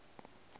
go jan jan o be